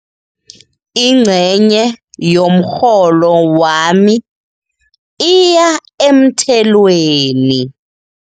Ingcenye yomrholo wami iya emthelweni.